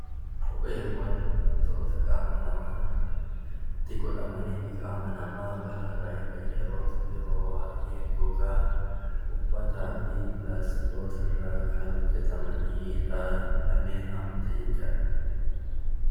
Kopheewwan wantoota qaama namaatti godhamanii balaarraa ittisan yoo ta'u, kopheen yeroo baay'ee gogaa, pilaastikaa fi uffata irraa kan hojjatamanidha jechuudha.